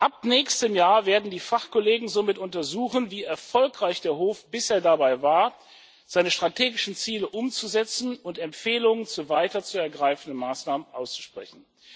Ab nächstem Jahr werden die Fachkollegen somit untersuchen, wie erfolgreich der Hof bisher dabei war, seine strategischen Ziele umzusetzen, und Empfehlungen zu weiteren zu ergreifenden Maßnahmen aussprechen.